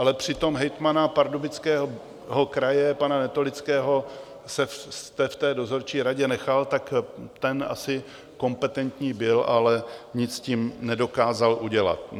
Ale přitom hejtmana Pardubického kraje pana Netolického jste v té dozorčí radě nechal, tak ten asi kompetentní byl, ale nic s tím nedokázal udělat.